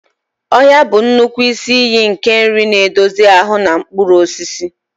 Ọhịa bụ nnukwu isi iyi nke nri na-edozi ahụ, na mkpụrụ osisi.